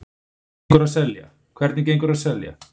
Hvernig gengur að selja?